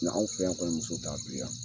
Na anw fe yan kɔni muso t'anw fe yan